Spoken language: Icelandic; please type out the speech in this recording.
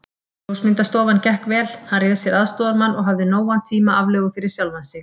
Ljósmyndastofan gekk vel, hann réð sér aðstoðarmann og hafði nógan tíma aflögu fyrir sjálfan sig.